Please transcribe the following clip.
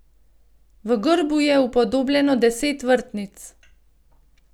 V grbu je upodobljeno deset vrtnic.